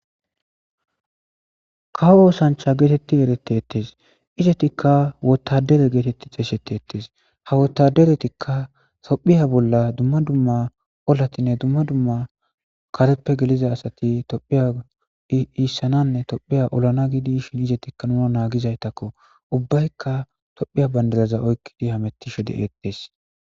kawo oosancha geetetti erete ettes izetikka wotadere geetetti xeeshete ettes ha wotaderetikka tophiya bolla dumma dumma olatinne dumma dumma kareppe geliza asati tophiya iissananne tophiya olana gidi shin izetikka nuna naagizaytakko ubbaykka tophiya bandalaza oykkidi hamettisho de eqtees